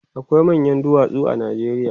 akwai manyan duwatsu a Najeriya